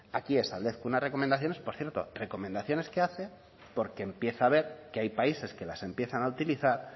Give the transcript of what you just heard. aquí establezco unas recomendaciones por cierto recomendaciones que hace porque empieza a ver que hay países que las empiezan a utilizar